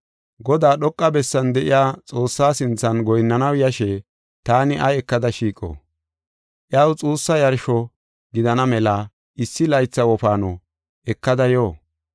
Godaa, dhoqa bessan de7iya Xoossaa sinthan goyinnanaw yashe taani ay ekada shiiqo? Iyaw xuussa yarsho gidana mela issi laytha wofaano ekada yo?